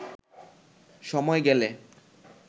সময় গেলে